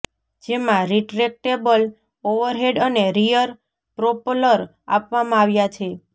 જેમાં retractable overhead અને rear propeller આપવામાં આવ્યાં છે